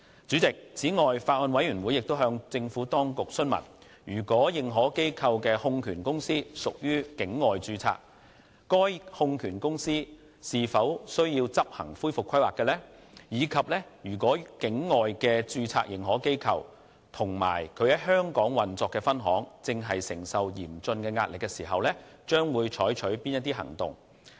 此外，法案委員會亦向政府當局詢問，認可機構的控權公司如屬境外註冊，該控權公司是否需要執行恢復規劃；以及如果境外註冊認可機構或其在香港運作的分行正承受嚴峻壓力，將會採取的行動為何。